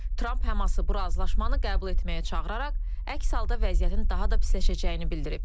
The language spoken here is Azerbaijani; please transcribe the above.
Tramp Həması bu razılaşmanı qəbul etməyə çağıraraq əks halda vəziyyətin daha da pisləşəcəyini bildirib.